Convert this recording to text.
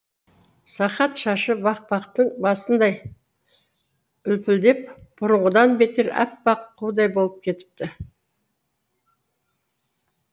сақат шашы бақбақтың басындай үлпілдеп бұрынғыдан бетер аппақ қудай болып кетіпті